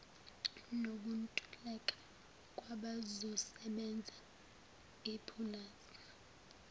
nokuntuleka kwabazosebenza ipulazi